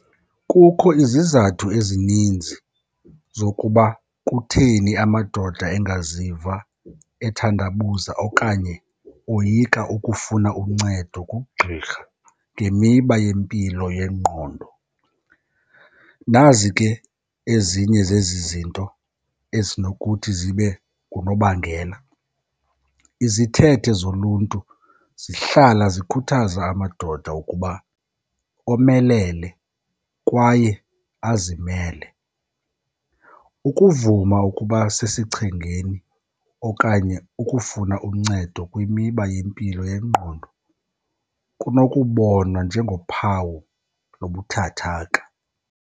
Kukho izizathu ezininzi zokuba kutheni amadoda engaziva ethandabuza okanye oyika ukufuna uncedo kugqirha ngemiba yempilo yengqondo. Nazi ke ezinye zezi zinto ezinokuthi zibe ngunobangela, izithethe zoluntu zihlala zikhuthaza amadoda ukuba omelele kwaye azimele. Ukuvuma ukuba sesichengeni okanye ukufuna uncedo kwimiba yempilo yengqondo kunokubonwa njengophawu lobuthathaka.